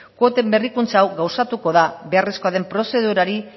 kuoten berrikuntza hau gauzatuko da beharrezkoa den prozedurari